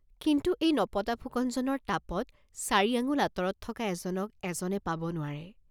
কিন্তু এই নপতা ফুকন জনৰ তাপত চাৰি আঙ্গুল আঁতৰত থকা এজনক এজনে পাব নোৱাৰে।